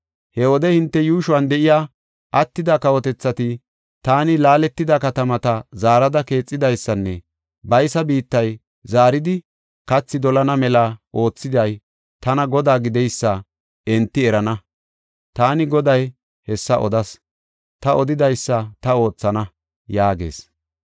He wode hinte yuushuwan de7iya attida kawotethati, taani laaletida katamata zaarada keexidaysanne baysa biittay zaaridi kathi dolana mela oothiday tana Godaa gideysa enti erana. Taani Goday hessa odas; ta odidaysa ta oothana” yaagees.